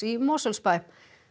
í Mosfellsbæ